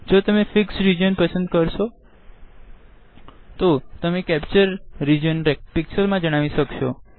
જો તેમ fixed region પસંદ કરશો તો તમે કેપ્ચર રીજન પિક્ક્ષલ મા જણાવી શકશો